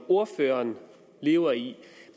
ordføreren lever i